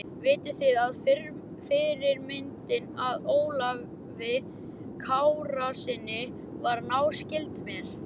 Vitið þið að fyrirmyndin að Ólafi Kárasyni var náskyld mér?